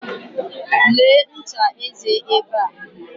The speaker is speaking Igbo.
Lee ncha eze ebe a.